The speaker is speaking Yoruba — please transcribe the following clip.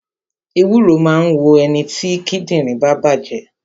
Ewúro máa ń wo ẹniti kíndìnrín bá bàjé